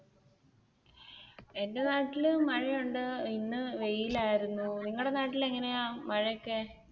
എന്റെ നാട്ടിൽ മഴയുണ്ട് ഇന്ന് വെയിലായിരുന്നു നിങ്ങടെ നാട്ടിൽ എങ്ങനെയാ മഴയൊക്കെ?